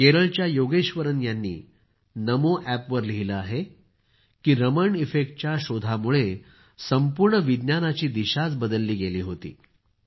केरळच्या योगेश्वरन यांनी नमोएपवर लिहिलं आहे की रमण इफेक्टच्या शोधामुळं संपूर्ण विज्ञानाची दिशाच बदलली गेली होती